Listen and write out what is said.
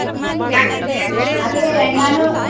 ಯಾಕೆ ಬೇಗ ಹೊಂಟೋದೆ.